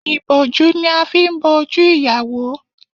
Ìbòjú ni a fi n bo ojú ìyàwó